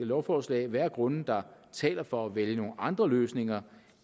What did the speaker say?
lovforslag være grunde der taler for at vælge nogle andre løsninger